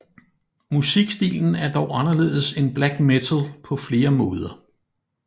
Musikstilen er dog anderledes end black metal på flere måder